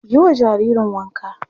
Yi wa jaririn wanka!